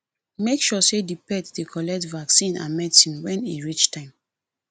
make sure sey di pet dey collect vaccine and medicine when e reach time